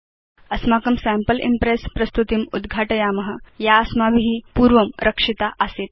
अस्माकं sample Impress प्रस्तुतिम् उद्घाटयाम या अस्माभि पूर्वं रक्षिता आसीत्